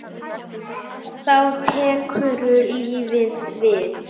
Þá tekur lífið við?